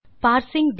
hello friends